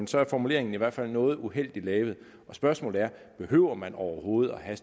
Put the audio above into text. så er formuleringen i hvert fald noget uheldigt lavet og spørgsmålet er behøver man overhovedet at have